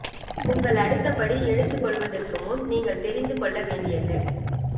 உங்கள் அடுத்த படி எடுத்துக்கொள்வதற்கு முன் நீங்கள் தெரிந்து கொள்ள வேண்டியது